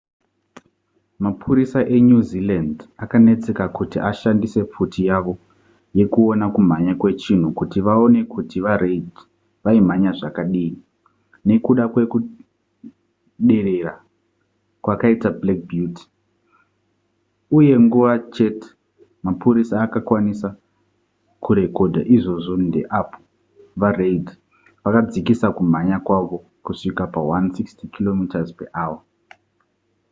mapurisa enew zealand akanetseka kuti ashandise pfuti yavo yekuona kumhanya kwechinhu kuti vaone kuti vareid vaimhanya zvakadii nekuda kwekuderera kwakaita black beauty uye nguva chete iyo mapurisa akakwanisa kurekodha izvozvo ndeapo vareid vakadzikisa kumhanya kwavo kusvika pa 160km/h